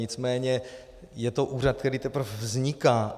Nicméně je to úřad, který teprve vzniká.